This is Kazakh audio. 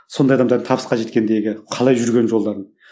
сондай адамдардың табысқа жеткендегі қалай жүрген жолдарын